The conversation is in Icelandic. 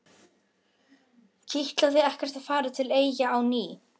Kitlaði ekkert að fara til Eyja á ný?